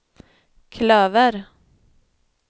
klöver